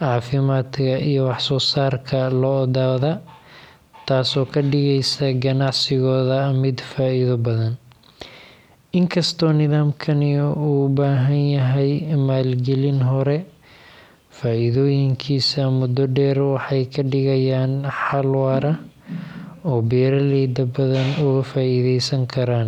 caafimaadka iyo wax-soo-saarka lo’dooda, taasoo ka dhigaysa ganacsigooda mid.